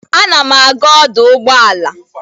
Ana m aga ọdụ ụgbọala.